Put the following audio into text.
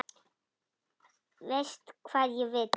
Veist hvað ég vil.